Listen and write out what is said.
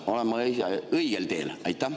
Olen ma õigel teel?